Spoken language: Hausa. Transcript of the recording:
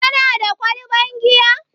Kana da kwalban giya?